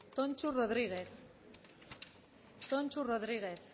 tonxu rodriguez tonxu rodriguez